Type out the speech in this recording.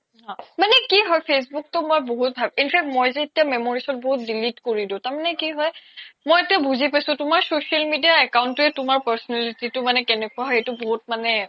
মানে কি হয় facebook তো মই বহুত ভাল in fact মই যে এতিয়া memories বহুত delete কৰিলো তাৰ মানে কি হয় মই এতিয়া বুজি পাইছো তুমাৰ social media account ৱে তুমাৰ personality তো কেনেকুৱা হয় সেইটো বহুত মানে